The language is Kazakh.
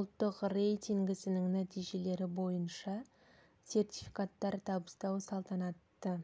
ұлттық рейтингісінің нәтижелері бойынша сертификаттар табыстау салтанатты